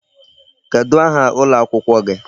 Kedụ aha ụlọ akwụkwọ gị?